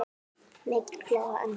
Mikil gleði og ánægja.